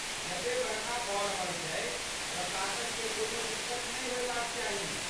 जते बरखा भऽ रहल छै, प्रशासनकेँ कोनो दिक्कत नहि होयबाक चाही।